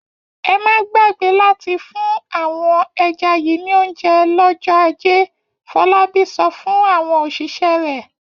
Ẹ má gbàgbé láti fún àwọn ẹja yìí ní oúnjẹ lọ́jọ́ ajé! Fọlábí sọ fún àwọn òṣìṣẹ́ rẹ̀.